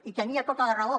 i tenia tota la raó